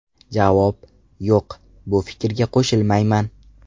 Javob: Yo‘q, bu fikrga qo‘shilmayman.